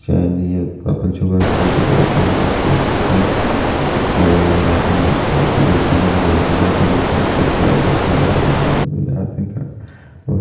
चैन नियर का के छुआ लेके जात हे अपन बेटी ए के बेटा मन के लेके जात हे पर साइकिल से जात हे --